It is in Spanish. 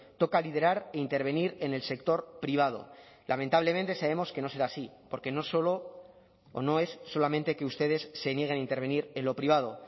toca liderar e intervenir en el sector privado lamentablemente sabemos que no será así porque no solo o no es solamente que ustedes se nieguen a intervenir en lo privado